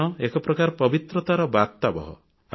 ଆପଣ ଏକ ପ୍ରକାର ପବିତ୍ରତାର ବାର୍ତ୍ତାବହ